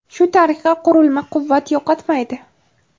Shu tariqa, qurilma quvvat yo‘qotmaydi.